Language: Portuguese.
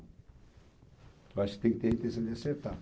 Eu acho que tem que ter a intenção de acertar.